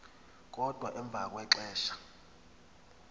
kodwa emva kwexesha